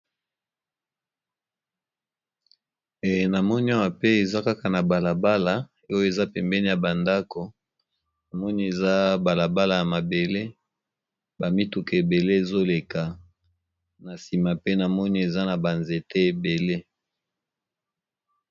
Namoni awa pe eza kaka na balabala oyo eza pembeni ya ba ndako namoni eza balabala ya mabele ba mituka ebele ezoleka na nsima pe namoni eza na ba nzete ebele.